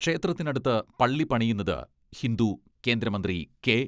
ക്ഷേത്രത്തിനടുത്ത് പള്ളി പണിയുന്നത് ഹിന്ദു കേന്ദ്രമന്ത്രി കേ